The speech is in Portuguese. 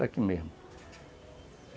Daqui mesmo.